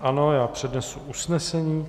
Ano, já přednesu usnesení: